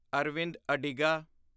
Arvind Adiga